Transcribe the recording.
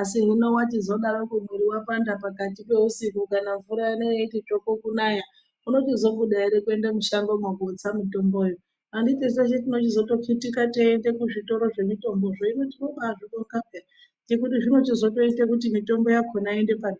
asi hino wachizodarokwo mwiri wapanda pakati peusiku kana mvura ino yeiti tsvopo kunaya unochizobuda ere kuende mushangomwo kotse mitomboyo? Andito teshe tinochizochitika teiende kuzvitoro zvemitombozvo hino tinoba zvibonga peya ngekuti zvichizoite kuti mitombo yakona iyende pa.